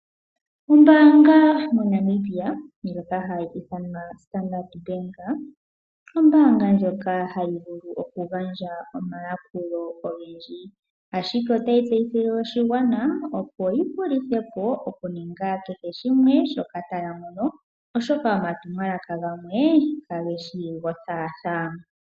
Ombaanga moNamibia ndjoka hayi ithanwa standard Bank , ombaanga ndjoka hayi vulu okugandja omayakulo ogendji , ashike otayi tseyithile oshigwana opo yihulithe po okuninga kehe shimwe shoka taya mono oshoka, omatumwalaka gamwe kage shi gothaathaa.